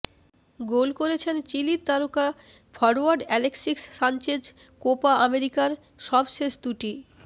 গোল করেছেন চিলির তারকা ফরোয়ার্ড অ্যালেক্সিস সানচেজ কোপা আমেরিকার সবশেষ দুটি